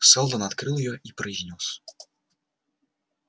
сэлдон открыл её и произнёс